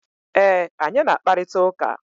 E, anyị na-akparịta ụka.